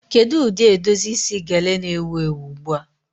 Kedu ụdị edozi isi gele na-ewu ewu ugbu a?